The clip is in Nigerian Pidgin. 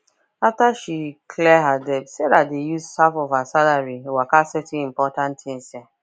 after she clear her debts sarah dey use half of her salary waka settle important tins um